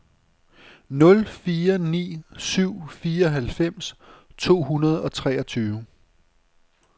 nul fire ni syv fireoghalvfems to hundrede og treogtyve